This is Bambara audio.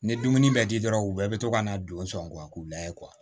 Ni dumuni bɛ di dɔrɔn u bɛɛ bɛ to ka na don sɔngɔ k'u la ye